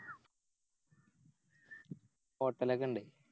Hotel ഒക്കെ ഇണ്ട്